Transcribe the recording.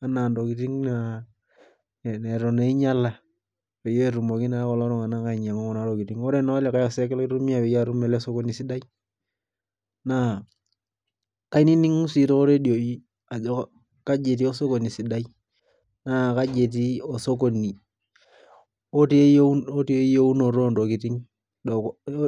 anaa intokitin neitu naa einyala peyie etumoki naa kulo tunganak ainyangu kuna tokitin oree naa olikai osek laitumia peyie atum ele sokoni sidai naa kaininingu sii too redioi ajo kajii etii osokoni sidai naa kaji etii osokoni lotii eyionoto oo ntokitin